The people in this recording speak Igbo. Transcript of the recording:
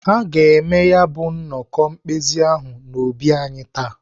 Ha ga-eme ya nnọkọ mkpezi ahụ n'obi anyị taa.